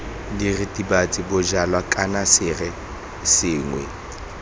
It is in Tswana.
diritibatsi bojalwa kana sere sengwe